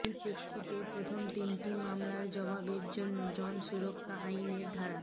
সেই প্রেক্ষিতে প্রথম তিনটি মামলার জবাবে জন সুরক্ষা আইনের ধারা